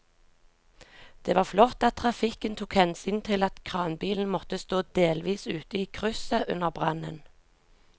Det var flott at trafikken tok hensyn til at kranbilen måtte stå delvis ute i krysset under brannen.